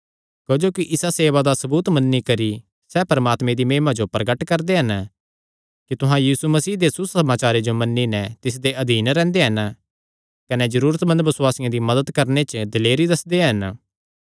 क्जोकि इसा सेवा दा सबूत मन्नी करी सैह़ परमात्मे दी महिमा जो प्रगट करदे हन कि तुहां यीशु मसीह दे सुसमाचारे जो मन्नी नैं तिसदे अधीन रैंह्दे हन कने जरूरतमंद बसुआसियां दी मदत करणे च दिलेरी दस्सदे रैंह्दे हन